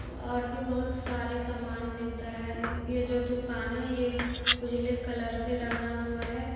और भी बहोत सारे समान मिलता है ये जो दुकान है ये उजले कलर से रंगा हुआ है।